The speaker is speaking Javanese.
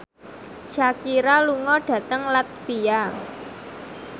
Shakira lunga dhateng latvia